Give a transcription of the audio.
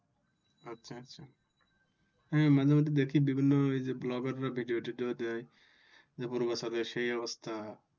আাচ্ছা হ্যাঁ মাঝে মধ্যে দেখি বিভিন্ন এইযে ভ্লগাররা ভিডিও টিডিও দেই পূর্বাচলের সেই অবস্থা